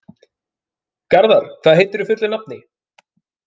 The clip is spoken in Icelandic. Garðar, hvað heitir þú fullu nafni?